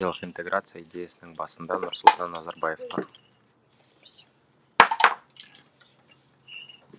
өйткені еуразиялық интеграция идеясының басында нұрсұлтан назарбаев тұр